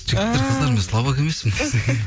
жігіттер қыздар мен слабак емеспін десең